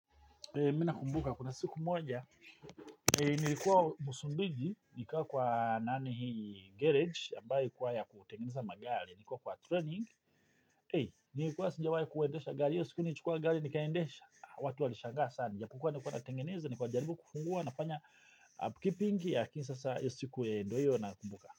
Mi naumbuka kuna siku moja, nilikuwa musumbiji, nikuwa kwa nani garage, ambayo kuwaya kutengeneza magali, nikuwa kwa training, nilikuwa sijawahi kuwendesha gali, siku ni chukua gali nikaendesha, watu walishangaa sana, nikuwa natengeneza, nikuwa jaribu kufungua, napanya upkeeping, yakin sasa siku ndoyo na kumbuka.